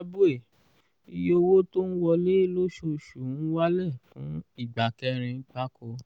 zimbabwe: iye owó tó ń wọlé lóṣooṣù ń wálẹ̀ fún ìgbà kẹrin gbáko